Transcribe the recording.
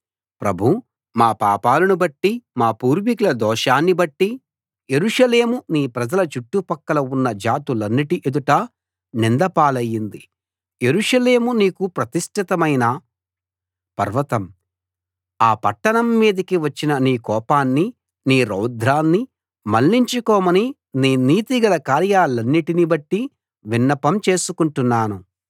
ప్రభూ మా పాపాలనుబట్టి మా పూర్వీకుల దోషాన్ని బట్టి యెరూషలేము నీ ప్రజల చుట్టుపక్కల ఉన్న జాతులన్నిటి ఎదుట నింద పాలయింది యెరూషలేము నీకు ప్రతిష్ఠితమైన పర్వతం ఆ పట్టణం మీదికి వచ్చిన నీ కోపాన్ని నీ రౌద్రాన్ని మళ్లించుకోమని నీ నీతిగల కార్యాలన్నిటిని బట్టి విన్నపం చేసుకుంటున్నాను